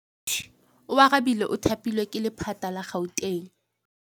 Oarabile o thapilwe ke lephata la Gauteng.